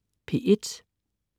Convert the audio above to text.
P1: